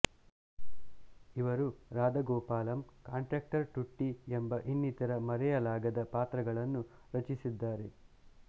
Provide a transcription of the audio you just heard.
ಇವರು ರಾಧಾ ಗೋಪಾಲಂ ಕಾಂಟ್ರಾಕ್ಟರ್ ಟುಟ್ಟಿ ಎಂಬ ಇನ್ನಿತರ ಮರೆಯಲಾಗದ ಪಾತ್ರಗಳನ್ನು ರಚಿಸಿದ್ದಾರೆ